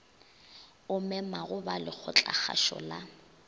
o memago ba lekgotlakgašo la